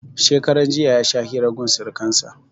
Shekaran jiya ya sha hira gun surkan sa